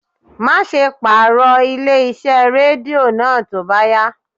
Má ṣe pàrọ̀ ilé iṣẹ́ Rédíò náà tó bá yá.